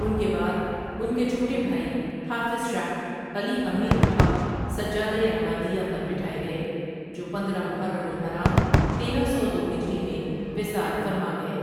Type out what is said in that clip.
ان کے بعد ان کے چھوٹے بھائی حافظ شاہ علی امیر الحق سجادۂ عمادیہ پر بٹھائے گئے جوپندرہ ؍محرم الحرام تیرہ سو دوہجری میں وصال فرما گئے۔